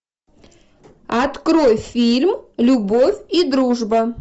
открой фильм любовь и дружба